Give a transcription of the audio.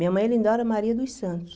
Minha mãe é Lindaura Maria dos Santos.